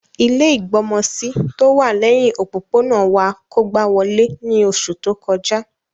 Ilẹ́ ìgbọmọsí tówà lẹhin òpópónà wa kógba wolé ni oṣu to kọja.